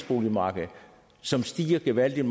boligmarked som stiger gevaldigt